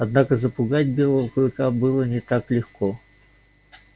однако запугать белого клыка было не так легко